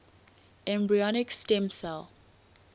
embryonic stem cell